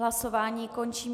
Hlasování končím.